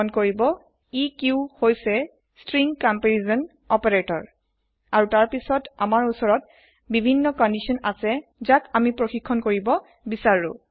মন কৰিব এক হই ষ্ট্ৰিং কম্পাৰিছন অপাৰেতৰ আৰু তাৰ পাসত আমাৰ ওচৰত বিভিন্ন কন্দিছন আছে যাক ছেচক কৰিব পাৰু